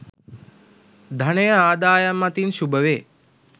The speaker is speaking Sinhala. ධනය ආදායම් අතින් ශුභවේ.